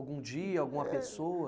Algum dia, alguma pessoa?